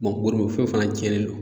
fɛn fana cɛnnen do.